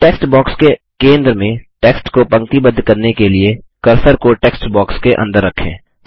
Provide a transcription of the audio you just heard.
text box के केंद्र में टेक्स्ट को पंक्तिबद्ध करने के लिए कर्सर को टेक्स्ट बॉक्स के अंदर रखें